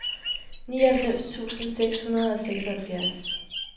nioghalvfems tusind seks hundrede og seksoghalvfjerds